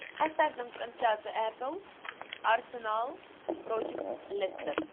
поставь нам трансляцию апл арсенал против лестер